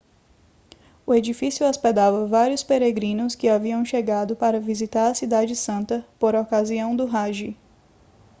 o edifício hospedava vários peregrinos que haviam chegado para visitar a cidade santa por ocasião do hajj